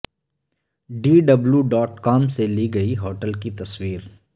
D W dot com سے لی گئی ہوٹل کی تصویر